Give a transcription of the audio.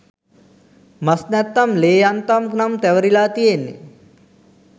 මස් නැත්නම් ලේ යන්තම් නම් තැවරිලා තියෙන්නෙ